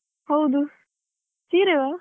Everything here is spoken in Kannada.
ಹೌದು. ಸೀರೆವಾ?